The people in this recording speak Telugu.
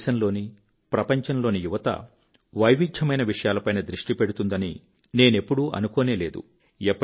మన దేశంలోని ప్రపంచంలోని యువత వైవిధ్యమైన విషయాల పైన దృష్టి పెడుతున్నదని నేనెప్పుడూ అనుకోనే లేదు